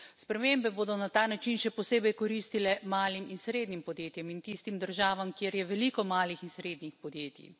Spremembe bodo na ta način se posebej koristile malim in srednjim podjetjem in tistim državam, kjer je veliko malih in srednjih podjetij.